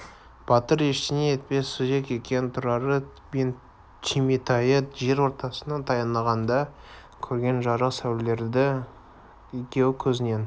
батыр ештеңе етпес сүзек екен тұрары мен түйметайы жер ортасына таянғанда көрген жарық сәулелері екеуі көзінің